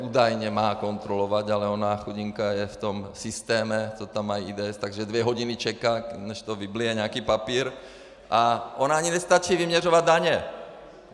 Údajně má kontrolovat, ale ona chudinka je v tom systému, co tam mají, IDS, takže dvě hodiny čeká, než to vyblije nějaký papír, a ona ani nestačí vyměřovat daně.